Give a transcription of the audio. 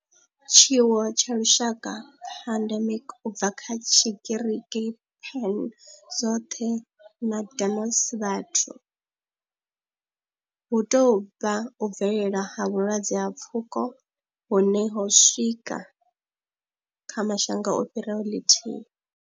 Tshiwo tsha lushaka, pandemic, u bva kha Tshigiriki pan, zwothe na demos, vhathu, hu tou vha u bvelela ha vhulwadze ha pfuko hune ho swika kha mashango a fhiraho ḽithihi.